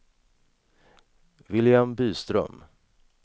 William Byström